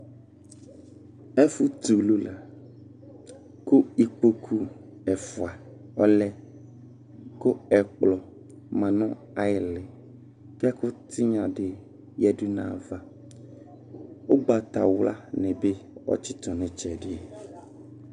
Ɛfʋ t'ulu la kʋ ikpokʋ ɛfua ɔlɛ kʋ ɛkplɔ ma nʋ ayili, k'ɛkʋ tigna di yǝdu n'ayava, ʋgbatawlani bi atsitʋ n'itsɛdi